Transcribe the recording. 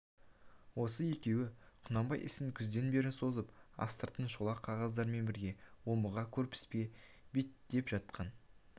осы екеуі құнанбай ісін күзден бері созып астыртын шолақ қағаздармен бірге омбыға көрпіске беттетіп жатқан